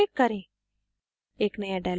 save पर click करें